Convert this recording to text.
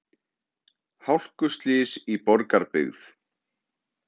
Hálkuslys í Borgarbyggð